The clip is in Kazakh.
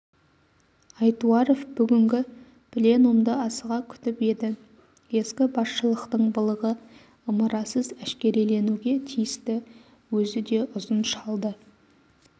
айтуаров бүгінгі пленумды асыға күтіп еді ескі басшылықтың былығы ымырасыз әшкереленуге тиісті өзі де ұзын шалды